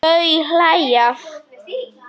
Þau hlæja.